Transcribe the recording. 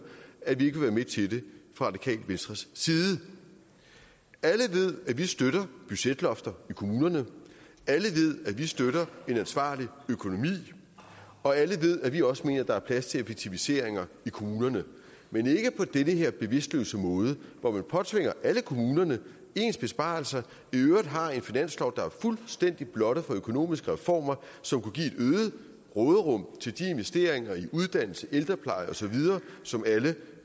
at vi ikke vil være med til det fra radikale venstres side alle ved at vi støtter budgetlofter i kommunerne alle ved at vi støtter en ansvarlig økonomi og alle ved at vi også mener der er plads til effektiviseringer i kommunerne men ikke på den her bevidstløse måde hvor man påtvinger alle kommunerne ens besparelser og i øvrigt har en finanslov der er fuldstændig blottet for økonomiske reformer som kunne give et øget råderum til de investeringer i uddannelse ældrepleje og så videre som alle